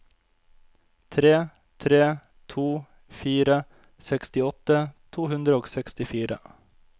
tre tre to fire sekstiåtte to hundre og sekstifire